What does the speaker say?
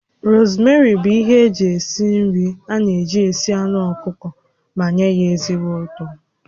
Rosmeri bụ ihe eji esi nri a na-eji esi anụ ọkụkọ ma nye ya ezigbo ụtọ